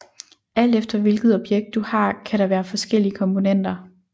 Alt efter hvilket objekt du har kan der være forskellige komponenter